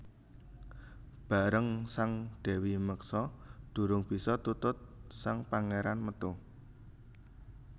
Bareng sang Dèwi meksa durung bisa tutut sang Pangéran metu